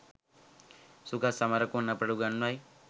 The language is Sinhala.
සුගත් සමරකෝන් අපට උගන්වයි